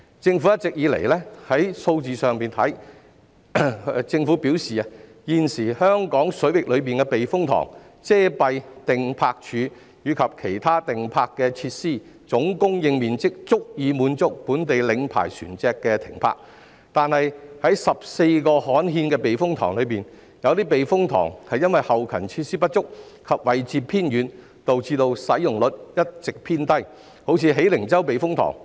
政府一直表示，從數字上看，現時香港水域內的避風塘、遮蔽碇泊處及其他碇泊設施的總供應面積足以滿足本地領牌船隻停泊，但在14個刊憲的避風塘中，有些避風塘後勤設施不足及位置偏遠，導致使用率一直偏低，如喜靈洲避風塘。